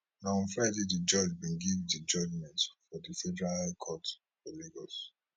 na on friday di judge bin give di judgment for di federal high court for lagos